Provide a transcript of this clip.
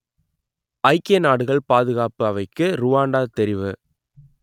ஐக்கிய நாடுகள் பாதுகாப்பு அவைக்கு ருவாண்டா தெரிவு